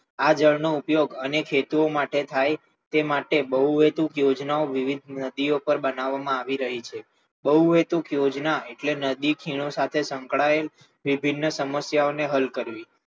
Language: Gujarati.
આ જળનો ઉપયોગ અનેક હેતુઓ માટે થાય છે તે માટે બહુહેતુક યોજનાઓ વિવિધ નદીઓ પર બનાવવામાં આવી રહી છે બહુહેતુક યોજના એટલે નદીઓ ખીણો સાથે સંકળાયેલ વિભિન્ન સમસ્યાઓને હલ કરવી